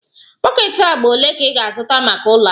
Bọket agba ole ka ị ga-azụta maka ụlọ ahụ?